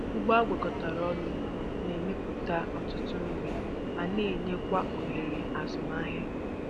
Ugbo agwakọtara ọnụ na-emepụta ọtụtụ nri ma na enyekwa ohere azụmahịa.